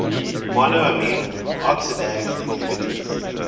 monoamine oxidase inhibitors